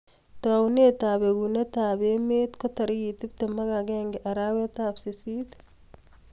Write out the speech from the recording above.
Taunet ap bekuneet ap emeet ko tarikit tiptem ak agenge arawet ap sisist